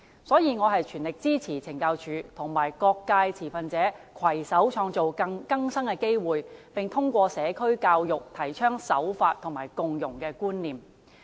所以，我全力支持懲教署與各界持份者攜手創造更生機會，並通過社區教育，提倡守法和共融觀念。